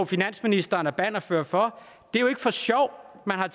finansministeren er bannerfører for det er jo ikke for sjov at man har